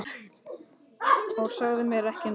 Og sagðir mér ekki neitt!